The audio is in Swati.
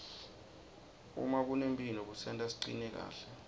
uma kunemphilo kusenta sicine kahle